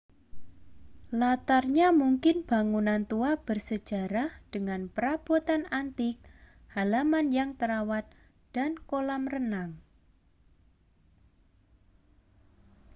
latarnya mungkin bangunan tua bersejarah dengan perabotan antik halaman yang terawat dan kolam renang